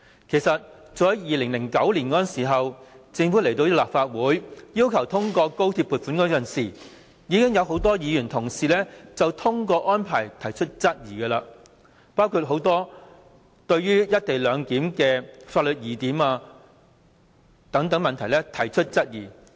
其實早在2009年，政府要求立法會通過高鐵撥款時，已有很多議員就通關安排提出質疑，包括多項推行"一地兩檢"的法律疑點等問題。